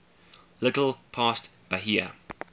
little past bahia